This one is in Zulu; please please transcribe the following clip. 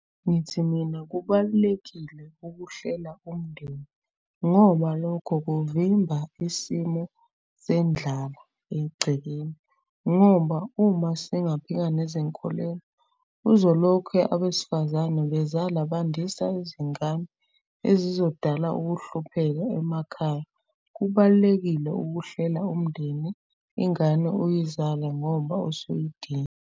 Ngithi mina kubalulekile ukuhlela umndeni ngoba lokho kuvimba isimo sendlala egcekeni. Ngoba uma singaphika nezinkolelo uzolokhe abesifazane bezala bandisa izingane ezizodala ukuhlupheka emakhaya. Kubalulekile ukuhlela umndeni ingane uyizale ngoba usuyidinga.